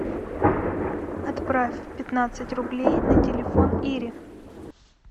отправь пятнадцать рублей на телефон ире